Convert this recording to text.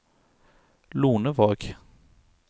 Lonevåg